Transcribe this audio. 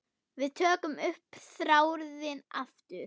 Við tökum upp þráðinn aftur.